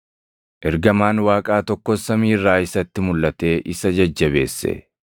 Ergamaan Waaqaa tokkos samii irraa isatti mulʼatee isa jajjabeesse.